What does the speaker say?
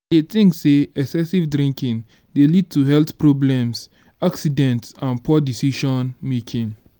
dey think say excessive drinking dey lead to health problems accidents and poor decision-making.